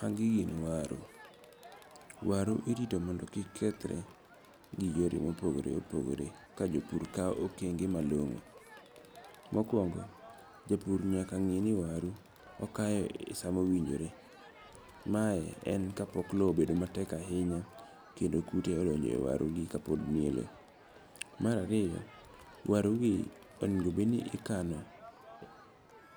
Magi gin waru. Waru irito mondo kik kethre gi yore mopogore opogore ka jopur kawo okenge malong'o. Mokwongo, japur nyaka ngi' ni waru okayo sama owinjore. Mae en ka pok low obedo matek ahinya kendo kute gi odonje waru kapod ni e low. Mar ariyo, waru gi onego bed ni ikano